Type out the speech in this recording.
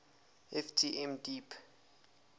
ft m deep